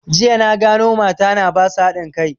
Jiya na gano mata na basu da haɗin kai